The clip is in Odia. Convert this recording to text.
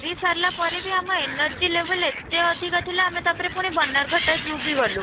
ଫେରି ସାରିଲା ପରେ ବି ଆମ energy level ଏତେ ଅଧିକ ଥିଲା, ଆମେ ତା'ପରେ ପୁଣି ବନରଘଟା zoo ବି ଗଲୁ